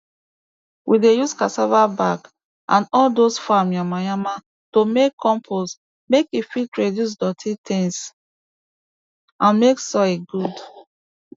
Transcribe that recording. we dey use cassava back and all dose farm yama yama to make compost make e fit reduce doti tins and make soil good